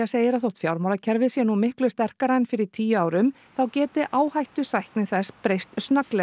segir að þótt fjármálakerfið sé nú miklu sterkara en fyrir tíu árum þá geti áhættusækni þess breyst snögglega